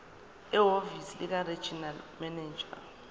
ehhovisi likaregional manager